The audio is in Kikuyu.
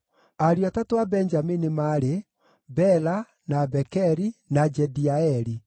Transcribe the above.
Ariũ atatũ a Benjamini maarĩ: Bela, na Bekeri, na Jediaeli.